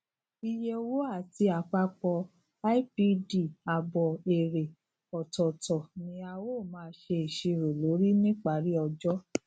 iye owo ati apapo ipdabo ere otootọ ni a o maa se iṣiro lori nipari ojo